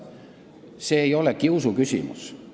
See ei ole kiusuküsimus.